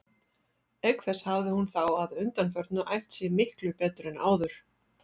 Auk þess hafði hún þá að undanförnu æft sig miklu betur en áður.